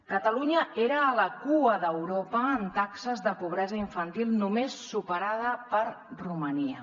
catalunya era a la cua d’europa amb taxes de pobresa infantil només superades per romania